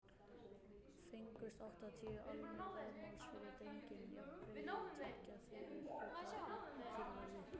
Fengust áttatíu álnir vaðmáls fyrir drenginn, jafnvirði tveggja þriðju hluta úr kýrverði.